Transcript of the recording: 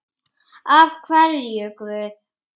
Af hverju Guð?